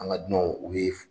An ka dunanw u bɛ